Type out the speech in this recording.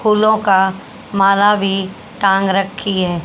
फूलों का माल भी टांग रखी है।